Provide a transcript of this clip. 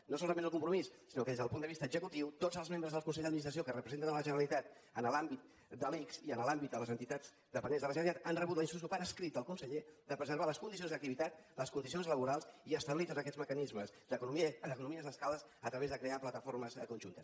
no solament el compromís sinó que des del punt de vista executiu tots els membres del consell d’administració que representen la generalitat en l’àmbit de l’ics i en l’àmbit de les entitats dependents de la generalitat han rebut la instrucció per escrit del conseller de preservar les condicions d’activitat les condicions laborals i establir tots aquests mecanismes d’economies d’escala a través de crear plataformes conjuntes